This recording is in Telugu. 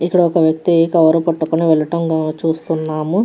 ఇక్కడ ఒక వ్యక్తి కవర్ పట్టుకొని వెళ్ళడం మనం చుస్తునము.